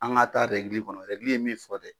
An ga taa ɛrɛgili kɔnɔ ɛrɛgili ye min fɔ dɛ